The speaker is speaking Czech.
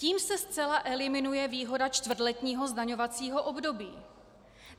Tím se zcela eliminuje výhoda čtvrtletního zdaňovacího období.